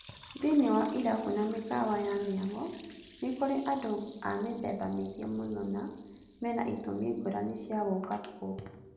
Thĩĩiniĩ wa irabu na mĩkawa ya mĩago, nĩ kũrĩ andũ a mĩthemba mĩingĩ mũno na mena itumi ngũrani cia gũũka kũu.